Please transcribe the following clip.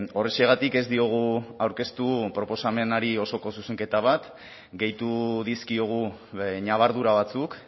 horrexegatik ez diogu aurkeztu proposamenari osoko zuzenketa bat gehitu dizkiogu ñabardura batzuk